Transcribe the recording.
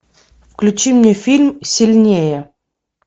включи мне фильм сильнее